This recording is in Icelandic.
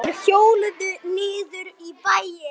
Þeir hjóluðu niður í bæinn.